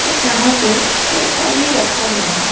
और यहां पे सोफा भी रखा गया है।